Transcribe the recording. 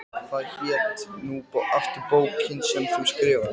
Ormur gerði sig líklegan til þess að ganga til bæjarhúsanna.